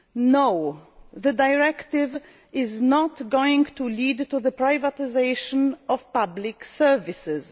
debates. No, the directive is not going to lead to the privatisation of public services.